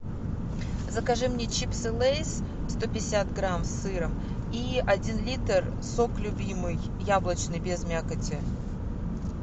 закажи мне чипсы лейс сто пятьдесят грамм с сыром и один литр сок любимый яблочный без мякоти